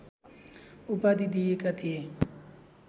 उपाधि दिएका थिए